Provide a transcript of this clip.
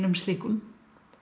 slíkum